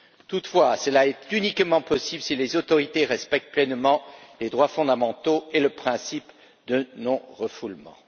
Toutefois, cela est uniquement possible si les autorités respectent pleinement les droits fondamentaux et le principe de non refoulement.